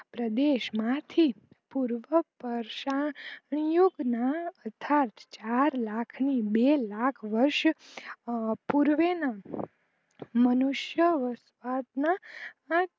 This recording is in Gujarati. પ્રદેશ માં થી પૂર્વ પર્શાન યુગ ના અથાર્થ ચાર લાખ ની બે લાખ વર્ષ પૂર્વે નો મનુસ્ય